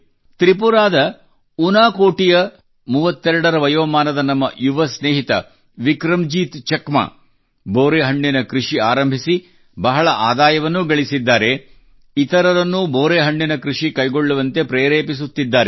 ತ್ರಿಪುರಾದ ಉನಾಕೋಟಿ ಯ ಇಂಥ 32 ರ ವಯೋಮಾನದ ನಮ್ಮ ಯುವ ಸ್ನೇಹಿತ ವಿಕ್ರಂಜೀತ್ ಚಕಮಾ ಅವರು ಬೋರೆಹಣ್ಣಿನ ಕೃಷಿ ಆರಂಭಿಸಿ ಬಹಳ ಆದಾಯವನ್ನೂ ಗಳಿಸಿದ್ದಾರೆ ಮತ್ತು ಇತರರನ್ನೂ ಬೋರೆಹಣ್ಣಿನ ಕೃಷಿ ಕೈಗೊಳ್ಳುವಂತೆ ಪ್ರೇರೆಪಿಸುತ್ತಿದ್ದಾರೆ